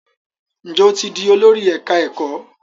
Njé o tí dì Olórí ẹka ẹkọ?